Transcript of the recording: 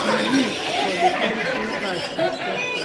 the weeds for the pumpkin patch dey spread